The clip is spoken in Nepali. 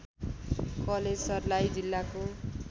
कलेज सर्लाही जिल्लाको